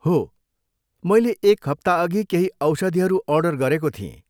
हो, मैले एक हप्ताअघि केही औषधीहरू अर्डर गरेको थिएँ।